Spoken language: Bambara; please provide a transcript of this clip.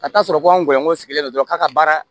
Ka taa sɔrɔ ko an gɔlɔn sigilen don dɔrɔn k'a ka baara